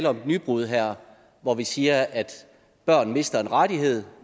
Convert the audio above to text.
om et nybrud her hvor vi siger at børn mister en rettighed